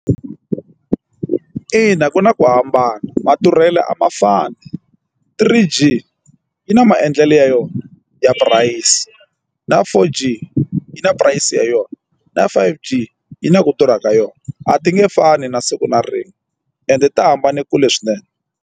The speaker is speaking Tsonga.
Ina ku na ku hambana madurhelo a ma fani three G yi na maendlelo ya yona ya purayisi na four G yi na price yona na five G yi na ku durha ka yona a ti nge fani na siku na rin'we ende ti hambane kule swinene.